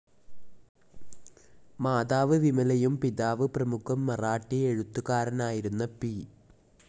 Mother വിമലയും പിതാവ് പ്രമുഖ മറാഠി എഴുത്തുകാരനായിരുന്ന പി.